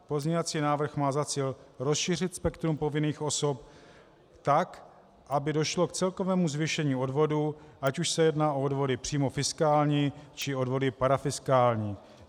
Pozměňovací návrh má za cíl rozšířit spektrum povinných osob tak, aby došlo k celkovému zvýšení odvodů, ať už se jedná o odvody přímo fiskální, či odvody parafiskální.